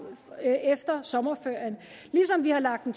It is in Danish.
efter sommerferien ligesom vi har lagt en